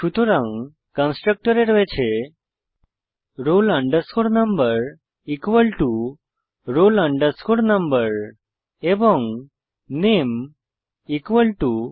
সুতরাং কন্সট্রকটরে রয়েছে roll number roll number এবং নামে নামে